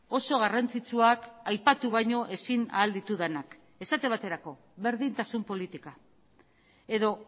oso garrantzitsuak aipatu baino ezin ahal ditudanak esate baterako berdintasun politika edo